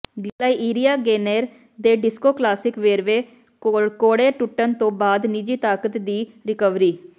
Gloria Gaynor ਦੇ disco classic ਵੇਰਵੇ ਕੌੜੇ ਟੁੱਟਣ ਤੋਂ ਬਾਅਦ ਨਿੱਜੀ ਤਾਕਤ ਦੀ ਰਿਕਵਰੀ